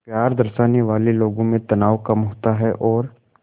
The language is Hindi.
प्यार दर्शाने वाले लोगों में तनाव कम होता है और